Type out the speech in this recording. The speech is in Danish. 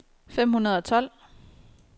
fem hundrede og tolv